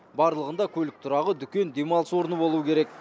барлығында көлік тұрағы дүкен демалыс орны болуы керек